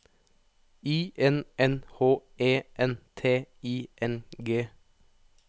I N N H E N T I N G